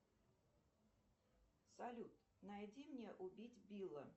салют найди мне убить билла